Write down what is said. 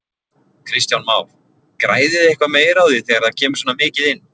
Kristján Már: Græðið þið eitthvað meira á því þegar það kemur svona mikið inn?